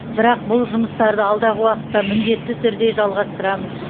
бірақ бұл жұмыстарды алдағы уақытта міндетті түрде жалғастырамыз